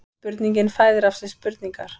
Spurningin fæðir af sér spurningar